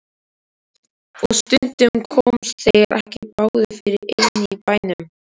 Og stundum komust þeir ekki báðir fyrir inni í bænum.